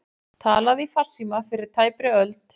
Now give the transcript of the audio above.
Talað í farsíma fyrir tæpri öld